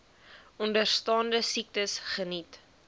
onderstaande siektes geniet